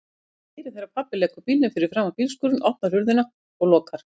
Ég heyri þegar pabbi leggur bílnum fyrir framan bílskúrinn, opnar hurðina og lokar.